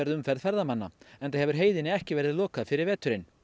umferð ferðamanna enda hefur heiðinni ekki verið lokað fyrir veturinn